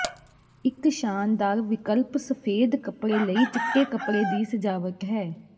ਇੱਕ ਸ਼ਾਨਦਾਰ ਵਿਕਲਪ ਸਫੇਦ ਕੱਪੜੇ ਲਈ ਚਿੱਟੇ ਕੱਪੜੇ ਦੀ ਸਜਾਵਟ ਹੈ